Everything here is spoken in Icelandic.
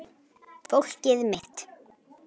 Fólkið mitt